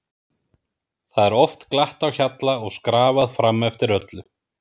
Það er oft glatt á hjalla og skrafað fram eftir öllu.